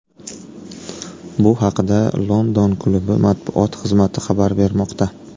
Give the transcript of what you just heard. Bu haqida London klubi matbuot xizmati xabar bermoqda .